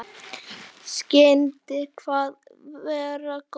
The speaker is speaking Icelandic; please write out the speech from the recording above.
Skyldi það vera gott?